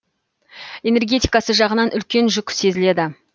энергетикасы жағынан үлкен жүк сезіледі